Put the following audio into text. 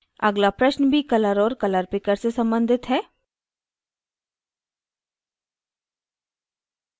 अगला प्रश्न भी color और color picker से सम्बंधित है